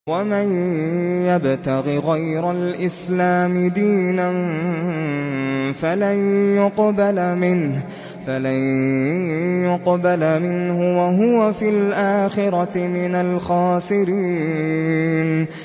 وَمَن يَبْتَغِ غَيْرَ الْإِسْلَامِ دِينًا فَلَن يُقْبَلَ مِنْهُ وَهُوَ فِي الْآخِرَةِ مِنَ الْخَاسِرِينَ